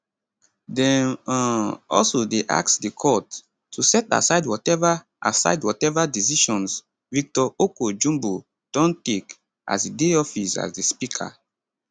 dem um also dey ask di court to set aside watever aside watever decisions victor oko jumbo don take as e dey office as di speaker